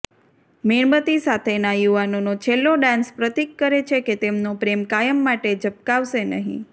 મીણબત્તી સાથેના યુવાનોનો છેલ્લો ડાન્સ પ્રતીક કરે છે કે તેમનો પ્રેમ કાયમ માટે ઝબકાવશે નહીં